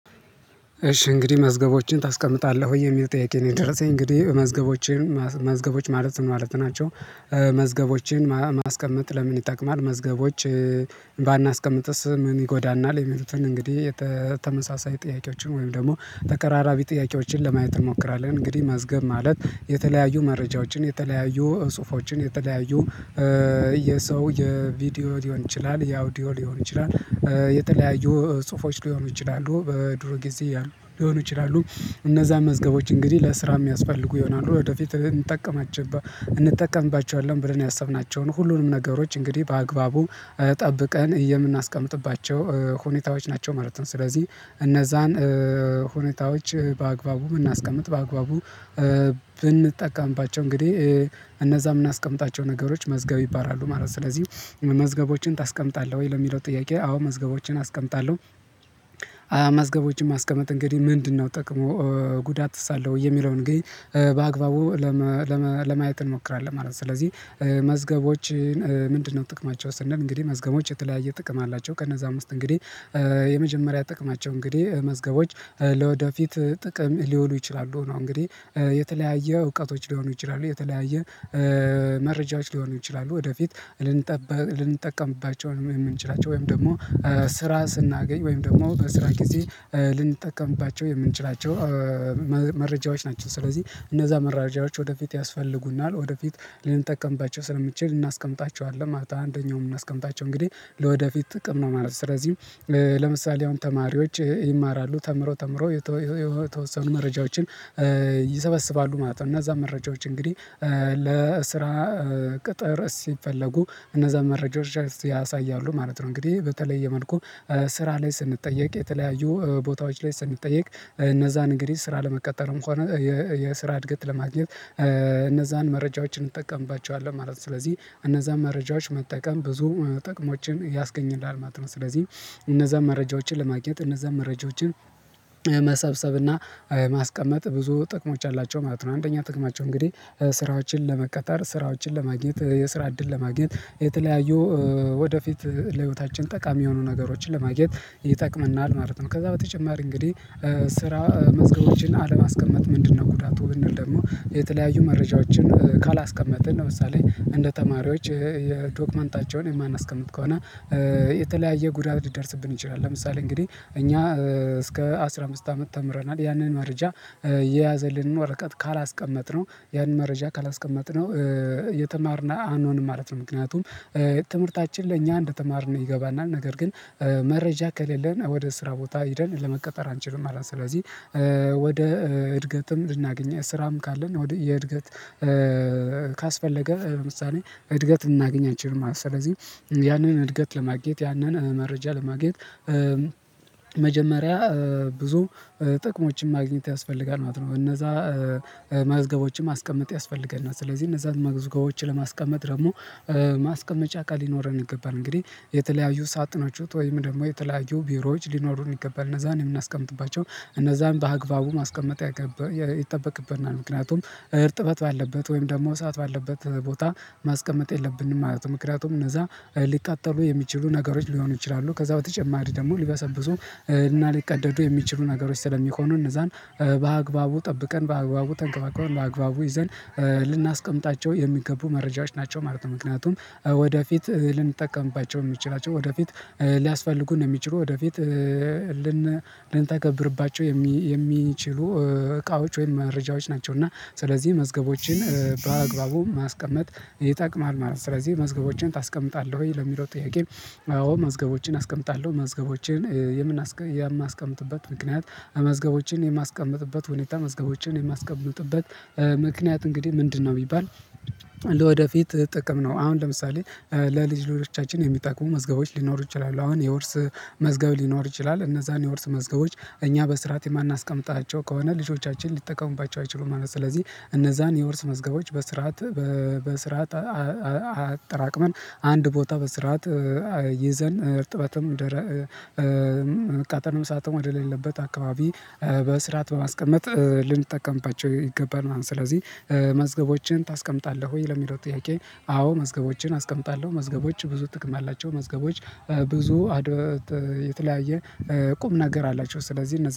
እሺ እንግዲህ መዝገቦችን ታስቀምጣለህ ወይ የሚል ጥያቄ ነው የደረሰኝ እንግዲህ መዝገቦችን መዝገቦች ማለት ምን ማለት ናቸው? መዝገቦችን ማስቀመጥ ለምን ይጠቅማል መዝገቦች? ባናስቀምጥስ ምን ይጎዳናል የሚሉትን እንግዲህ የተመሳሳይ ጥያቄዎችን ወይም ደግሞ ተቀራራቢ ጥያቄዎችን ለማየት እንሞክራለን። እንግዲህ መዝገብ ማለት የተለያዩ መረጃዎችን የተለያዩ ጽሁፎችን የተለያዩ የሰው የቪዲዮ ሊሆን ይችላል የአውዲዮ ሊሆን ይችላል። የተለያዩ ጽሁፎች ሊሆኑ ይችላሉ በድሮ ጊዜ ሊሆኑ ይችላሉ። እነዛ መዝገቦች እንግዲህ ለስራ የሚያስፈልጉ ይሆናሉ ወደፊት እንጠቀማችባ እንጠቀምባቸኋለን ብለን ያሰብናቸውን ሁሉንም ነገሮች እንግዲህ በአግባቡ ጠብቀን የምናስቀምጥባቸው ሁኔታዎች ናቸው ማለት ነው። ስለዚህ እነዛን ሁኔታዎች በአግባቡ የምናስቀምጥ በአግባቡ ብንጠቀምባቸው እንግዲህ እነዛ የምናስቀምጣቸው ነገሮች መዝገብ ይባላሉ ማለት ነው። ስለዚህ መዝገቦችን ታስቀምጣለህ ወይ ለሚለው ጥያቄ አዎ መዝገቦችን አስቀምጣለሁ። አዎ መዝገቦችን ማስቀመጥ እንግዲህ ምንድነው ጥቅሙ? ጉዳትስ አለው ወይ የሚለውን እንግዲህ በአግባቡ ለማየት እንሞክራለን ማለት ነው። ስለዚህ መዝገቦችን ምንድነው ጥቅማቸው ስንል እንግዲህ መዝገቦች የተለያየ ጥቅም አላቸው። ከነዛም ውስጥ እንግዲህ የመጀመሪያ ጥቅማቸው እንግዲህ መዝገቦች ለወደፊት ጥቅም ሊወሉ ይችላሉ ነው እንግዲህ የተለያየ እውቀቶች ሊሆኑ ይችላሉ የተለያየ መረጃዎች ሊሆኑ ይችላሉ ወደፊት ልንጠቀምባቸው የምንችላቸው ወይም ደግሞ ስራ ስናገኝ ወይም ደግሞ በስራ ጊዜ ልንጠቀምባቸው የምንችላቸው መረጃዎች ናቸው። ስለዚህ እነዛ መረጃዎች ወደፊት ያስፈልጉናል ወደፊት ልንጠቀምባቸው ስለምንችል እናስቀምጣቸዋለን ማለት አንደኛው ምናስቀምጣቸው እንግዲህ ለወደፊት ጥቅም ነው ማለት ነው። ስለዚህም ለምሳሌ አሁን ተማሪዎች ይማራሉ ተምረው ተምረው የተወሰኑ መረጃዎችን ይሰበስባሉ ማለት ነው። እና እነዛን መረጃዎች እንግዲህ ለስራ ቅጥር ሲፈለጉ እነዛን መረጃዎች ያሳያሉ ማለት ነው። እንግዲህ በተለየ መልኩ ስራ ላይ ስንጠየቅ የተለያዩ ቦታዎች ላይ ስንጠየቅ እነዛን እንግዲህ ስራ ለመቀጠርም ሆነ የስራ እድገት ለማግኘት እነዛን መረጃዎችን እንጠቀምባቸዋለን ማለት ነው። ስለዚህ እነዛን መረጃዎች መጠቀም ብዙ ጥቅሞችን ያስገኝልሃል ማለት ነው። ስለዚህ እነዛ መረጃዎችን ለማግኘት እነዛን መረጃዎችን መሰብሰብ እና ማስቀመጥ ብዙ ጥቅሞች አላቸው ማለት ነው። አንደኛ ጥቅማቸው እንግዲህ ስራዎችን ለመቀጠር ስራዎችን ለማግኘት የስራ እድል ለማግኘት የተለያዩ ወደፊት ለህይወታችን ጠቃሚ የሆኑ ነገሮችን ለማግኘት ይጠቅመናል ማለት ነው። ከዛ በተጨማሪ እንግዲህ ስራ መዝገቦችን አለማስቀመጥ ምንድነው ጉዳቱ? ብንል ደግሞ የተለያዩ መረጃዎችን ካላስቀመጥን ለምሳሌ እንደ ተማሪዎች የዶክመንታቸውን የማናስቀምጥ ከሆነ የተለያየ ጉዳት ሊደርስብን ይችላል። ለምሳሌ እንግዲህ እኛ እስከ አስራ አምስት አመት ተምረናል ያንን መረጃ የያዘልንን ወረቀት ካላስቀመጥነው ያንን መረጃ ካላስቀመጥነው የተማርን አኖንም ማለት ነው። ምክንያቱም ትምህርታችን ለእኛ እንደተማርን ይገባናል ነገር ግን መረጃ ከሌለን ወደ ስራ ቦታ ሄደን ለመቀጠር አንችልም ማለት ነው። ስለዚህ ወደ እድገትም ልናገኝ ስራም ካለን ወደ የእድገት ካስፈለገ ምሳሌ እድገት ልናገኝ አንችልም ማለት ነው ማለት ነው። ስለዚህ ያንን እድገት ለማግኘት ያንን መረጃ ለማግኘት መጀመሪያ ብዙ ጥቅሞችን ማግኘት ያስፈልጋል ማለት ነው። እነዛ መዝገቦችን ማስቀመጥ ያስፈልገናል እና ስለዚህ እነዛን መዝገቦች ለማስቀመጥ ደግሞ ማስቀመጫ እቃ ሊኖረን ይገባል እንግዲህ የተለያዩ ሳጥኖች ወይም ደግሞ የተለያዩ ቢሮዎች ሊኖሩን ይገባል እነዛን የምናስቀምጥባቸው እነዛን በአግባቡ ማስቀመጥ ይጠበቅብናል። ምክንያቱም እርጥበት ባለበት ወይም ደግሞ እሳት ባለበት ቦታ ማስቀመጥ የለብንም ማለት ነው። ምክንያቱም እነዛ ሊቃጠሉ የሚችሉ ነገሮች ሊሆኑ ይችላሉ ከዛ በተጨማሪ ደግሞ ሊበሰብሱ እና ሊቀደዱ የሚችሉ ነገሮች ስለሚሆኑ እነዛን በአግባቡ ጠብቀን በአግባቡ ተንከባክበን በአግባቡ ይዘን ልናስቀምጣቸው የሚገቡ መረጃዎች ናቸው ማለት ነው። ምክንያቱም ወደፊት ልንጠቀምባቸው የምንችላቸው ወደፊት ሊያስፈልጉን እሚችሉ ወደፊት ልን ልንታገብርባቸው የሚችሉ እቃዎች ወይም መረጃዎች ናቸው እና ስለዚህ መዝገቦችን በአግባቡ ማስቀመጥ ይጠቅማል ማለት ነው። ስለዚህ መዝገቦችን ታስቀምጣለህ ወይ ለሚለው ጥያቄ? አዎ መዝገቦችን አስቀምጣለሁ መዝገቦችን የማስቀምጥበት ምክንያት መዝገቦችን የማስቀምጥበት ሁኔታ መዝገቦችን የማስቀምጥበት ምክንያት እንግዲህ ምንድነው ቢባል ወደፊት ጥቅም ነው። አሁን ለምሳሌ ለልጅ ልጆቻችን የሚጠቅሙ መዝገቦች ሊኖሩ ይችላሉ። አሁን የውርስ መዝገብ ሊኖር ይችላል። እነዛን የውርስ መዝገቦች እኛ በስርዓት የማናስቀምጣቸው ከሆነ ልጆቻችን ሊጠቀሙባቸው አይችሉም ማለት ነው። ስለዚህ እነዛን የወርስ መዝገቦች በስርዓት በስርዓት አጠራቅመን አንድ ቦታ በስርዓት ይዘን እርጥበትም መቃጠልም እሳትም ወደሌለበት አካባቢ በስርዓት በማስቀመጥ ልንጠቀምባቸው ይገባናል። ስለዚህ መዝገቦችን ታስቀምጣለህ ወይ ለሚለው ጥያቄ? አዎ መዝገቦችን አስቀምጣለሁ። መዝገቦች ብዙ ጥቅም አላቸው መዝገቦች ብዙ አድ የተለያየ ቁም ነገር አላቸው። ስለዚህ